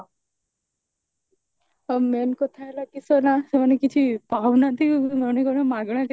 ଆଉ main କଥା ହେଲା କି ସେ ନା ସେମାନେ କିଛି ପାଉନାହାନ୍ତି ଗଣି ଗଣି ମାଗଣା କେତେ